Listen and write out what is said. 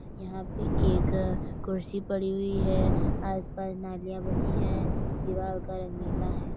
यहाँ पे एक कुर्सी पड़ी हुई है। आस-पास नालियाँ बनीं हैं। दीवाल का रंग नीला है।